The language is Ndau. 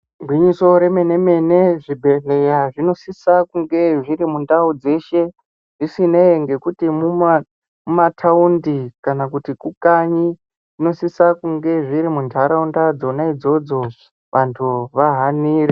Igwinyiso remene-mene zvibhedhlera zvinosise kunge zvirimundau dzese, zvisinei ngekuti mumataundi kana kuti kukanyi, zvinosisa kunge zviri muntaraunda dzonaidzodzo vantu vahanire.